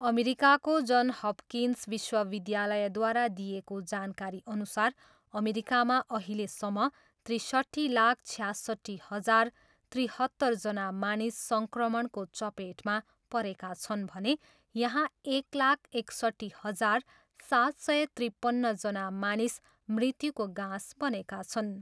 अमेरिकाको John Hopkins विश्वविद्यालयद्वारा दिइएको जानकारीअनुसार अमेरिकामा अहिलेसम्म त्रिसट्ठी लाख छयासट्ठी हजार त्रिहत्तरजना मानिस सङ्क्रमणको चपेटमा परेका छन् भने यहाँ एक लाख एकसट्ठी हजार सात सय त्रिपन्नजना मानिस मृत्युको गाँस बनेका छन्।